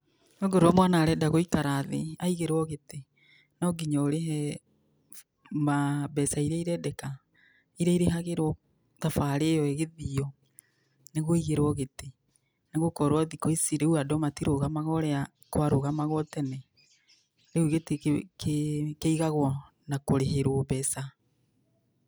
Okorwo mwana areenda gũikara thĩ aigĩrwo gĩtĩ, no nginya ũrĩhe mbeca iria ireendeka, iria irĩhagĩrwo thabaarĩ ĩyo ĩgĩthiio, nĩguo ũigĩrwo gĩtĩ. Nĩ gũkorwo thikũ ici rĩu andũ matirũũgamaga ũrĩa kwarũũgamagwo tene. Riũ gĩtĩ kĩigagwo na kũrĩhĩrwo mbeca.